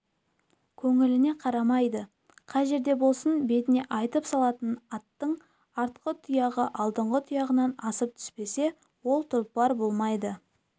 көңіліңе қарамайды қай жерде болсын бетіне айтып салатын аттың артқы тұяғы алдыңғы тұяғынан асып түспесе ол тұлпар болмайды